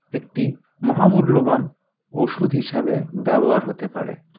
একটি মহামূল্যবান ওষুধ হিসাবে ব্যবহার হতে পারে